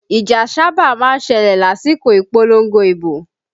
Ìjà sáábà má ń ṣẹlẹ̀ lásìkò ìpolongo ibo